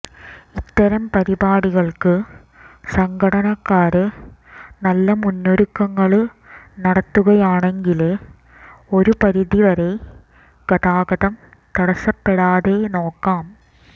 ഇത്തരം പരിപാടികള്ക്ക് സംഘാടകര് നല്ല മുന്നൊരുക്കങ്ങള് നടത്തുകയാണെങ്കില് ഒരു പരിധി വരെ ഗതാഗതം തടസ്സപ്പെടാതെ നോക്കാം